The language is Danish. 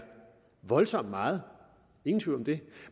voldsomt meget ingen tvivl om det